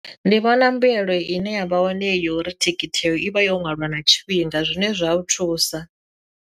Ndi vhona mbuyelo ine ya vha wane yori thikhithi yo ivha yo nwaliwa na tshifhinga zwine zwa u thusa.